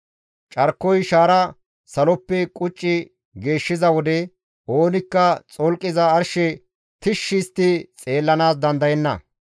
Carkoy shaara saloppe qucci geeshshiza wode, oonikka xolqiza arshe tishshi histti xeellanaas dandayenna.